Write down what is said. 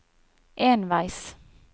enveis